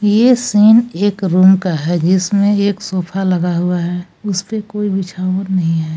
ये सीन एक रूम का है जिसमें एक सोफा लगा हुआ है उस पे कोई बिछावन नहीं है।